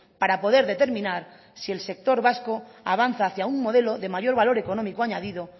para poder determinar si el sector vasco avanza hacia un modelo de mayor económico añadido